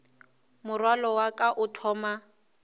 morwalo wa ka o thoma